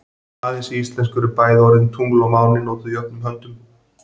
Aðeins í íslensku eru bæði orðin tungl og máni notuð jöfnum höndum.